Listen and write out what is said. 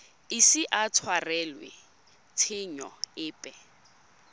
ise a tshwarelwe tshenyo epe